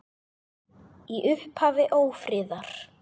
Í upphafi ófriðar